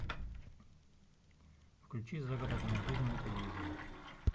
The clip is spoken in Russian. включи загородная жизнь на телевизоре